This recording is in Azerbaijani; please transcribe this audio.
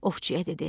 Ovçuya dedi.